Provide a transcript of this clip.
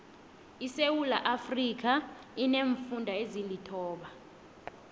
isewuula iafrika ineemfunda ezilithoba